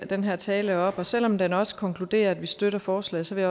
den her tale op og selv om den også konkluderer at vi støtter forslaget vil